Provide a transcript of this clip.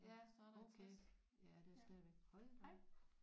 Ja okay ja det er stadigvæk hold da op